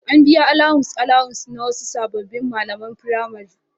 An biya alawus-alawus na wasu sabbin malaman firamare.